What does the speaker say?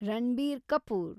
Ranbir Kapoor